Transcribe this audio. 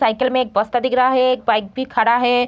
Cycle में एक बस्ता दिख रहा है एक बाइक भी खड़ा है।